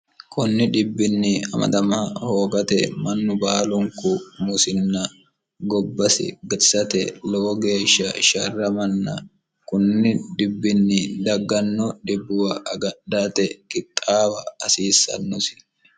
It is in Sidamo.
kunni dhibbinni amadama hoogate mannu baalunku musinna gobbasi gadisate lowo geeshsha sharramanna kunni dhibbinni dagganno dhibbuwa gadhate kixxaawa hasiissannosi